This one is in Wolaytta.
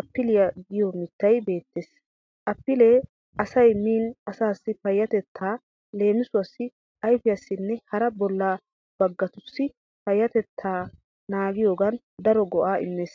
appiliya giyo mittayi beettees. Appilee asay miin asaassi payyatettaa (leemisuwawu ayfiyassinne hara bolla baggatussi) payyatettaa naagiyogan daro go'aa immees.